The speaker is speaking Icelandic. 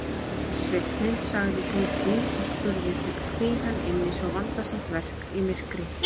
Sveinninn sagði til sín og spurði hví hann ynni svo vandasamt verk í myrkri.